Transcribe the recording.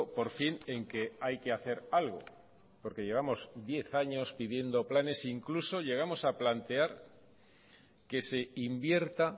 por fin en que hay que hacer algo porque llevamos diez años pidiendo planes incluso llegamos a plantear que se invierta